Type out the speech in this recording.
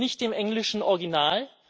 entspricht nicht dem englischen Original.